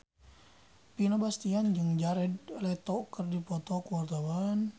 Vino Bastian jeung Jared Leto keur dipoto ku wartawan